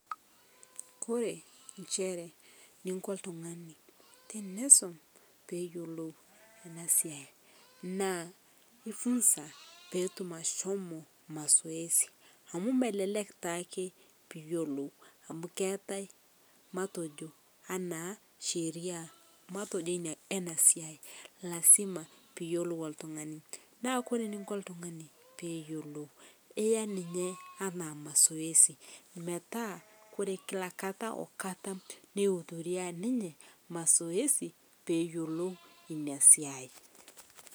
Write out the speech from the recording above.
Ore nchere ninko oltung'ani teni isum pee eyilo ena siaa naa ii funza petum ashomo masoesi amu meleek taake piyolou amu keetae matojo ana sheria matojo ena siai lasima piyolou oltung'ani .Na kore oltung'ani piyiolou iyaa ninche naa masoesi . Kmataa ore kila kata ni hudhuri nayo masoesi. pee eyolou ina siai.